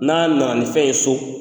N'a nana ni fɛn ye so,